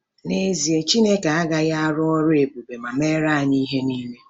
N'ezie, Chineke agaghị arụ ọrụ ebube ma meere anyị ihe niile.